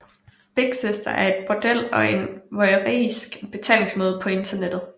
Big Sister er et bordel og en voyeuristisk betalingsside på internettet